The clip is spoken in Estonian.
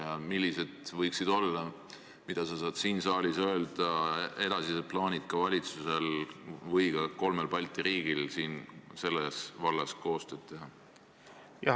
Ja millised võiksid olla valitsuse või kolme Balti riigi edasised plaanid – need, mida sa saad siin saalis öelda – selles vallas koostööd teha?